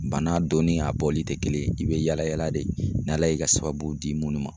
Bana don ni a bɔli tɛ kelen ye i be yaala yaala de n'Ala y'i ka sababu di munnu ma.